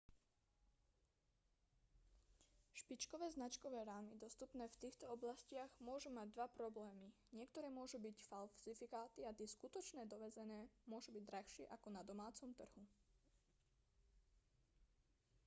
špičkové značkové rámy dostupné v týchto oblastiach môžu mať dva problémy niektoré môžu byť falzifikáty a tie skutočné dovezené môžu byť drahšie ako na domácom trhu